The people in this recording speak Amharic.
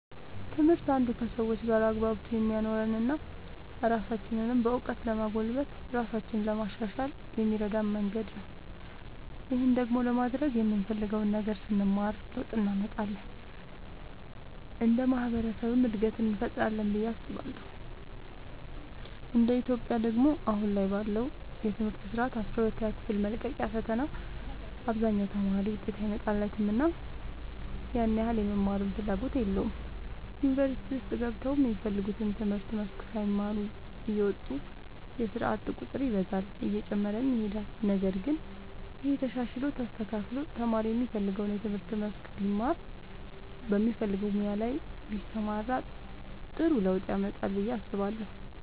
ትምህርት አንዱ ከሰዎች ጋር አግባብቶ የሚያኖረን እና ራሳችንንም በእውቀት ለማጎልበት ራሳችንን ለማሻሻል የሚረዳን መንገድ ነው። ይህን ደግሞ ለማድረግ የምንፈልገውን ነገር ስንማር ለውጥ እንመጣለን እንደ ማህበረሰብም እድገትን እንፈጥራለን ብዬ አስባለሁ እንደ ኢትዮጵያ ደግሞ አሁን ላይ ባለው የትምህርት ስርዓት አስራ ሁለተኛ ክፍል መልቀቂያ ፈተና አብዛኛው ተማሪ ውጤት አይመጣለትምና ያን ያህል የመማርም ፍላጎት የለውም ዩኒቨርሲቲ ውስጥ ገብተውም የሚፈልጉትን የትምህርት መስክ ሳይማሩ እየወጡ የስርዓት ቁጥር ይበዛል እየጨመረም ይሄዳል ነገር ግን ይሄ ተሻሽሎ ተስተካክሎ ተማሪ የሚፈልገውን የትምህርት መስክ ቢማር በሚፈልገው ሙያ ላይ ቢሰማራ ጥሩ ለውጥ ያመጣል ብዬ አስባለሁ።